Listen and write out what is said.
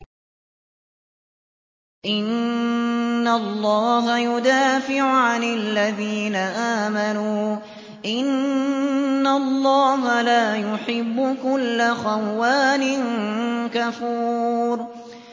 ۞ إِنَّ اللَّهَ يُدَافِعُ عَنِ الَّذِينَ آمَنُوا ۗ إِنَّ اللَّهَ لَا يُحِبُّ كُلَّ خَوَّانٍ كَفُورٍ